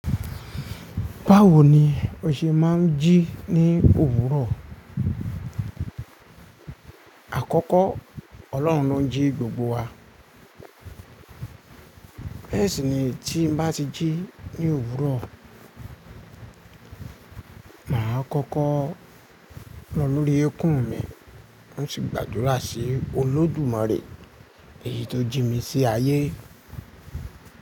Báwo ni o ṣe máa ń jí ní òwúrọ̀? Àkọ́kọ́ Ọlọ́run ló ń jí gbogbo wa. Bẹẹ sìní tí n bá ti jí ní òwúrọ̀, mà á kọ́kọ́ lọ lórí ekún mi, hun sì gbàdúrà sí Olódùmarè èyí tó jí mi sí ayé.